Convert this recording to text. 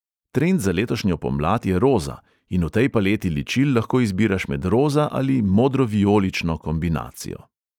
Trend za letošnjo pomlad je roza; in v tej paleti ličil lahko izbiraš med roza ali modro-vijolično kombinacijo.